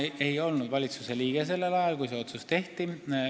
Ma ei olnud valitsuse liige sellel ajal, kui see otsus tehti.